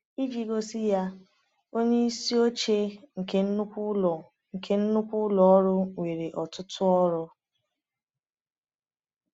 Iji gosi ya: Onye isi oche nke nnukwu ụlọ nke nnukwu ụlọ ọrụ nwere ọtụtụ ọrụ.